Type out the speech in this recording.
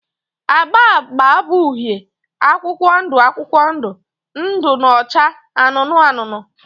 agba agba bụ uhie, akwụkwọ ndụ akwụkwọ ndụ na acha anụnụ anụnụ